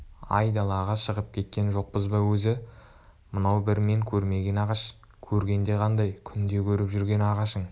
айдалаға шығып кеткен жоқпыз ба өзі мынау бір мен көрмеген ағаш көргенде қандай күнде көріп жүрген ағашың